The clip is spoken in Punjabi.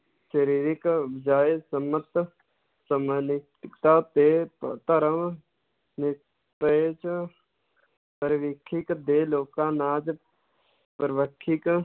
ਸਰੀਰਿਕ ਤਾ ਤੇ ਅਹ ਧਰਮ ਨਿਰਪੇਖ ਦੇ ਲੋਕਾਂ ਨਾਚ